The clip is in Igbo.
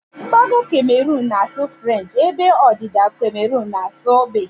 Mgbago Cameroon na asụ frenchi ebe ọdịda Cameroon n'asu bekee